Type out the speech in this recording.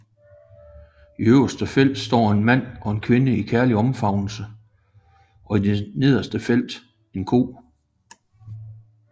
I det øverste felt står en mand og en kvinde i kærlig omfavnelse og i det nederste felt en ko